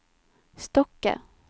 Stokke